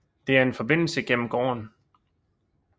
Der er en Forbindelse gennem gården